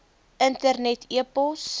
internet e pos